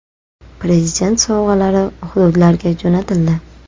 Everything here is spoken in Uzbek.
Prezident sovg‘alari hududlarga jo‘natildi.